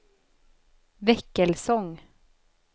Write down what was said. Väckelsång